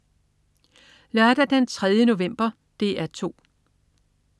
Lørdag den 3. november - DR 2: